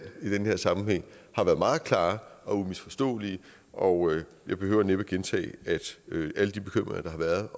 i den her sammenhæng har været meget klare og umisforståelige og jeg behøver næppe gentage at alle de bekymringer der har været